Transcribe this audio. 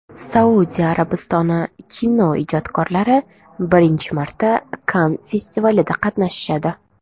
Saudiya Arabistoni kinoijodkorlari birinchi marta Kann festivalida qatnashadi.